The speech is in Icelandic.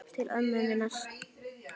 Til ömmu minnar.